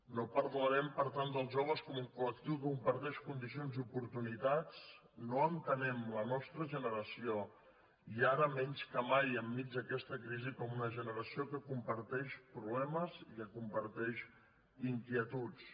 no parlarem per tant dels joves com un colcomparteix condicions i oportunitats no entenem la nostra generació i ara menys de mai enmig d’aquesta crisi com una generació que comparteix problemes i que comparteix inquietuds